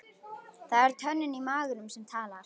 Það er tönnin í maganum sem talar.